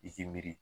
I k'i miiri